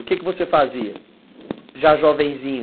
O que você fazia, já jovenzinho?